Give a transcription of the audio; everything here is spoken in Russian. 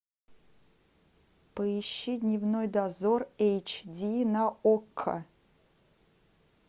поищи дневной дозор эйч ди на окко